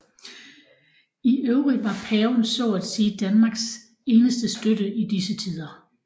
I øvrigt var paven så at sige Danmarks eneste støtte i disse tider